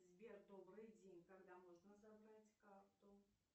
сбер добрый день когда можно забрать карту